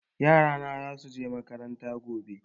Yara na za su je makaranta gobe.